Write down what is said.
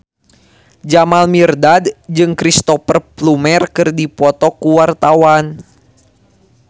Jamal Mirdad jeung Cristhoper Plumer keur dipoto ku wartawan